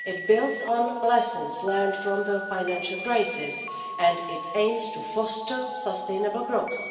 It builds on lessons learned from the financial crisis and aims to foster sustainable growth.